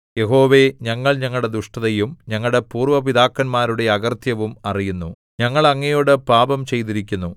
യഹോവേ ഞങ്ങൾ ഞങ്ങളുടെ ദുഷ്ടതയും ഞങ്ങളുടെ പൂര്‍വ്വ പിതാക്കന്മാരുടെ അകൃത്യവും അറിയുന്നു ഞങ്ങൾ അങ്ങയോടു പാപം ചെയ്തിരിക്കുന്നു